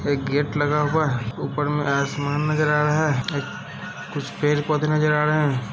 एक गेट लगा हुआ है ऊपर में आसमान नजर आ रहा है। एक कुछ पेड़-पौधे नजर आ रहे हैं।